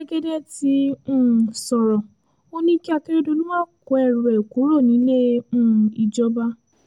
jẹ́gẹ́dẹ́ ti um sọ̀rọ̀ ò ní kí akérèdọ́lù máa kó ẹrù ẹ̀ kúrò nílé um ìjọba